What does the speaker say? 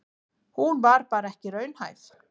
Hún var bara ekki raunhæf.